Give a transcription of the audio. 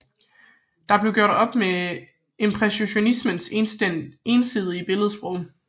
Der blev gjort op med impressionismens ensidige billedsprog